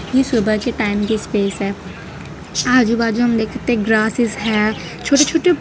ये सुबह के टाइम के स्पेस है आजू बाजू हम देख सकते हैं ग्रासेस हैं छोटे छोटे--